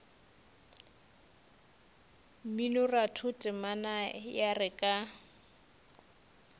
mminoratho temana ya re ka